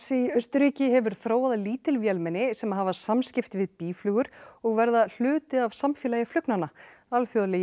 í Austurríki hefur þróað lítil vélmenni sem hafa samskipti við býflugur og verða hluti af samfélagi flugnanna alþjóðlegi